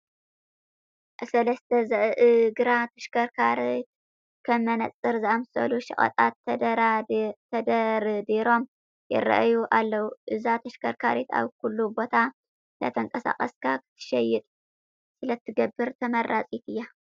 ኣብ ሰለስተ ዝእግራ ተሽከርካሪት ከም መነፀር ዝኣምሰሉ ሸቐጣት ተደርዲሮም ይርአዩ ኣለዉ፡፡ እዛ ተሽከርካሪት ኣብ ኩሉ ቦታ እንዳተንቀሳቐስካ ክትሸይጥ ስለትገብር ተመራፂት እያ፡፡